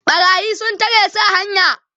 ɓarayi sun tare su a hanya